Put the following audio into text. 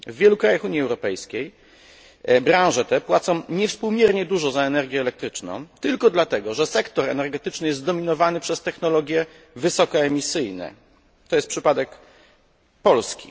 W wielu krajach Unii Europejskiej branże te płacą niewspółmiernie dużo za energię elektryczną tylko dlatego, że sektor energetyczny jest zdominowany przez technologie wysokoemisyjne to jest przypadek Polski.